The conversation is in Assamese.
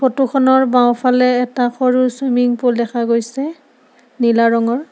ফটোখনৰ বাওঁফালে এটা সৰু ছুইমিং পুল দেখা গৈছে নীলা ৰঙৰ।